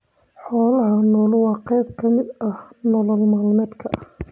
Xoolaha nool waa qayb ka mid ah nolol maalmeedka.